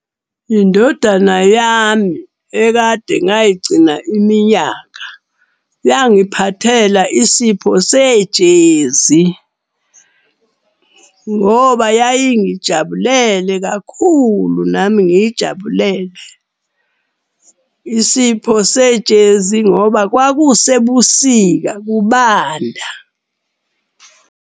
Indodana yami ekade ngayigcina iminyaka, yangiphathela isipho sejezi. Ngoba yayingijabulele kakhulu nami ngiyijabulele, isipho sejezi ngoba kwakusebusika kubanda.